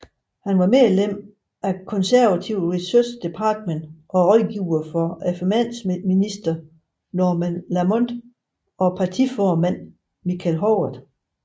Han var medlem af Conservative Research Department og rådgiver for finansminister Norman Lamont og partiformand Michael Howard